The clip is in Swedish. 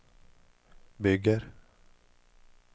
bygger